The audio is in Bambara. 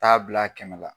Taa bila kɛmɛ la